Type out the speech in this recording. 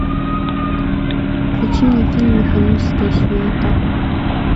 включи мне фильм механическая сюита